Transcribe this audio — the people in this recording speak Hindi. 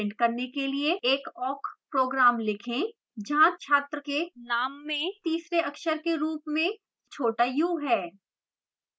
जहाँ तीसरे अक्षर के रूप में छात्र का name छोटा u है